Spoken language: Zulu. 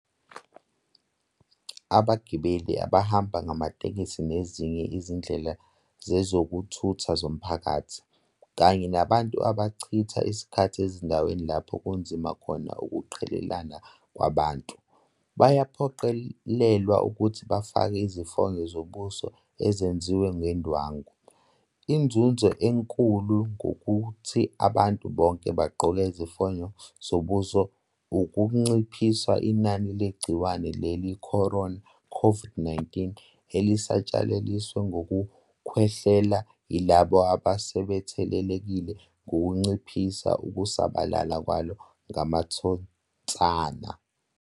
Abagibeli abahamba ngamatekisi nezinye izindlela zezokuthutha zomphakathi, kanye nabantu abachitha isikhathi ezindaweni lapho kunzima khona ukuqhelelana kwabantu, bayaphoqelelwa ukuthi bafake izifonyo zobuso ezenziwe ngendwangu. Inzuzo enkulu ngokuthi abantu bonke bagqoke izifonyo zobuso ukunciphisa inani legciwane le-corona, COVID-19, elisatshalaliswa ngokukhwehlela yilabo asebethelelekile ngokunciphisa ukusabalala kwalo ngamathonsana.